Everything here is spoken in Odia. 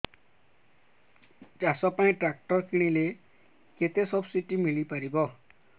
ଚାଷ ପାଇଁ ଟ୍ରାକ୍ଟର କିଣିଲେ କେତେ ସବ୍ସିଡି ମିଳିପାରିବ